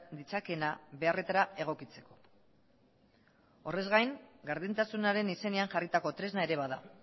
ditzakeena beharretara egokitzeko horrez gain gardentasunaren izenean jarritako tresna ere bada